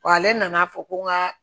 Wa ale nan'a fɔ ko n ka